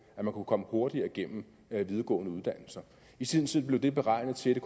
at man kunne komme hurtigere igennem videregående uddannelser i sin tid blev det beregnet til at det